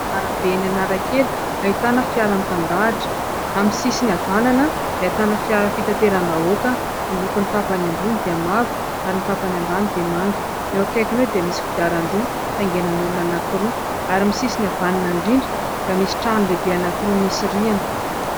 Arabe eny Anankely ahitana fiara mitandahatra. Amin'ny sisiny havanana dia ahitana fiara fitateram-bahoaka ny lokony tapany ambony dia mavo ary ny tapany ambany dia manga. Eo akaikiny eo dia misy kodiaran-droa tangenan'olona anankiroa ary ny sisiny havanana indrindra dia misy trano lehibe anankiroa misy rihana.